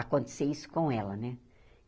Acontecer isso com ela, né?